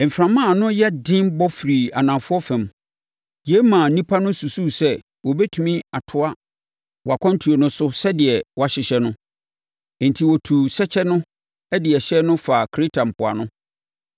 Mframa a ano nyɛ den bɔ firii anafoɔ fam. Yei maa nnipa no susuu sɛ wɔbɛtumi atoa wɔn akwantuo no so sɛdeɛ wɔahyehyɛ no. Enti, wɔtuu sɛkyɛ no de ɛhyɛn no faa Kreta mpoano.